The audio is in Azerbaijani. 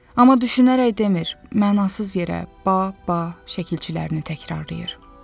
Amma düşünərək demir, mənasız yerə 'ba', 'ba' şəkilçilərini təkrarlayır.